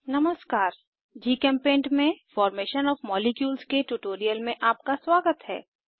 नमस्कार जीचेम्पेंट में formation of molecules के ट्यूटोरियल में आपका स्वागत है